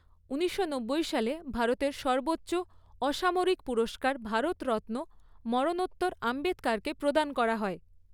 ঊনিশশো নব্বই সালে ভারতের সর্বোচ্চ অসামরিক পুরস্কার ভারতরত্ন, মরণোত্তর আম্বেদকরকে প্রদান করা হয়।